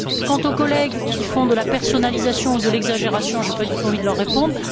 Quant aux collègues qui font de la personnalisation ou de l'exagération, je n'ai pas du tout envie de leur répondre.